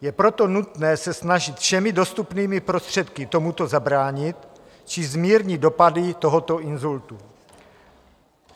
Je proto nutné se snažit všemi dostupnými prostředky tomuto zabránit či zmírnit dopady tohoto inzultu.